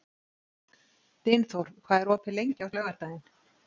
Dynþór, hvað er opið lengi á laugardaginn?